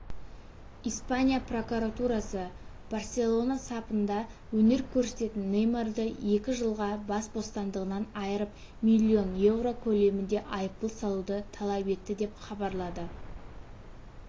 испания прокуратурасы барселона сапында өнер көрсететін неймарды екі жылға бас бостандығынан айырып миллион еуро көлемінде айыппұл салуды талап етті деп хабарлады